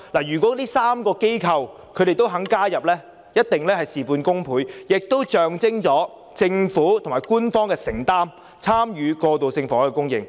如果這3個機構都願意加入，一定事半功倍，亦象徵政府有承擔參與過渡性房屋供應。